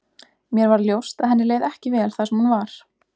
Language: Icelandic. Mér varð ljóst að henni leið ekki vel þar sem hún var.